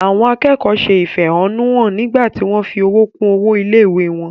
Àwọn akẹ́kọ̀ọ́ se ìfẹ̀hónúhàn nígbà tí wọ́n fi owó kún owó ilé-ìwé wọn.